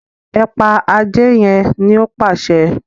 e pa Ajé yén ní o pàṣẹ